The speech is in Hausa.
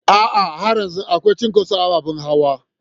A'a, har yanzu akwai cinkoso ababen hawa.